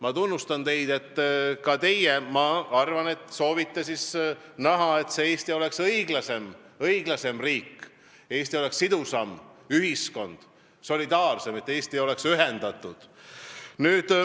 Ma tunnustan teid, et ka teie, ma arvan, soovite näha, et Eesti oleks õiglasem riik, et Eestis oleks sidusam ja solidaarsem ühiskond, et Eesti oleks ühendatud.